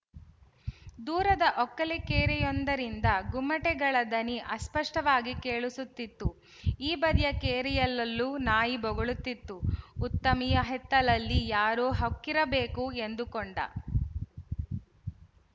ದೂರದ ಒಕ್ಕಲಕೇರಿಯೊಂದರಿಂದ ಗುಮ್ಮಟೆಗಳ ದನಿ ಅಸ್ಪಷ್ಟವಾಗಿ ಕೇಳಿಸುತ್ತಿತ್ತು ಈ ಬದಿಯ ಕೇರಿಯಲ್ಲಲ್ಲು ನಾಯಿ ಬೊಗಳುತ್ತಿತ್ತು ಉತ್ತಮಿಯ ಹಿತ್ತಲಲ್ಲಿ ಯಾರೋ ಹೊಕ್ಕಿರಬೇಕು ಎಂದುಕೊಂಡ